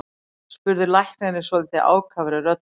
spurði læknirinn svolítið ákafri röddu.